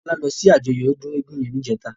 Tola lò si àjòyò òdún égùn yèn nijètá